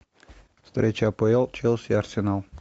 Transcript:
встреча апл челси арсенал